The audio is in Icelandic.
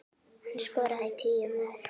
Hann skoraði tíu mörk.